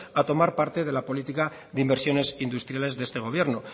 a tomar parte de la política de inversiones industriales de este gobierno